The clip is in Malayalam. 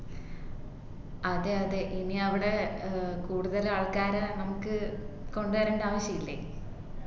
അതെ അതെ ഇനി അവിടെ ഏർ കൂടുതൽ ആൾക്കാരെ നമുക്ക് കൊണ്ടുവരേണ്ട ആവിശ്യയില്ലേ